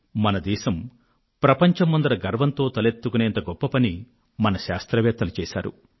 మన దేశం ప్రపంచం ముందు గర్వంతో తలెత్తుకునేంత గొప్ప పనిని మన శాస్త్రవేత్తలు చేశారు